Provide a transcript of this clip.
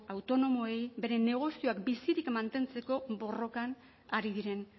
autonomoei beren negozioak bizirik mantentzeko borrokan ari diren